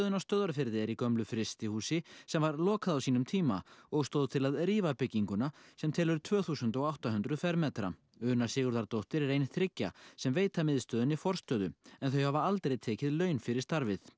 á Stöðvarfirði er í gömlu frystihúsi sem var lokað á sínum tíma og stóð til að rífa bygginguna sem telur tvö þúsund og átta hundruð fermetra Una Sigurðardóttir er ein þriggja sem veita miðstöðinni forstöðu en þau hafa aldrei tekið laun fyrir starfið